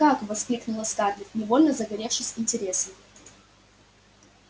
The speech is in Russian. как воскликнула скарлетт невольно загоревшись интересом